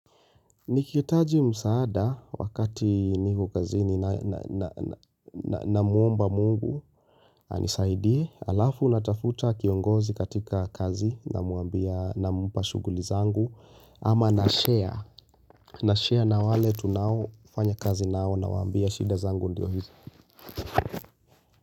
Nikihitaji msaada wakati niko kazini namuomba mungu anisaidie alafu natafuta kiongozi katika kazi nampa shughuli zangu ama nashare nashare na wale tunaofanya kazi nao nawaambia shida zangu ndio hizi.